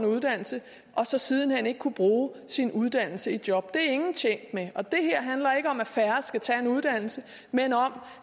uddannelse og så siden hen ikke kunne bruge sin uddannelse i et job det er ingen tjent med det her handler ikke om at færre skal tage en uddannelse men om